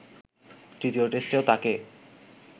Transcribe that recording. তৃতীয় টেস্টেও তাঁকে